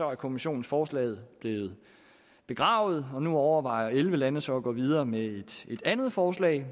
er kommissionens forslag blevet begravet og nu overvejer elleve lande så at gå videre med et andet forslag